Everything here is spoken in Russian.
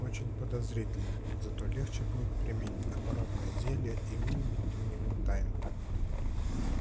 очень подозрительно зато легче будет применить оборотное зелье и выудить у него тайну